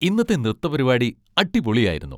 ഇന്നത്തെ നൃത്തപരിപാടി അടിപൊളി ആയിരുന്നു.